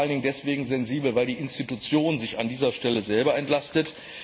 Sie ist vor allen Dingen deshalb sensibel, weil die Institution sich an dieser Stelle selber entlastet.